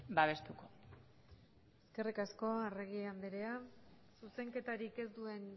babestuko eskerrik asko arregi andrea zuzenketarik ez duen